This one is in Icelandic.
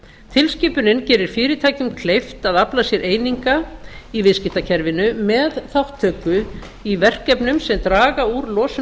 tilskipunin gerir fyrirtækjum kleift að afla sér eininga í viðskiptakerfinu með þátttöku í verkefnum sem draga úr losun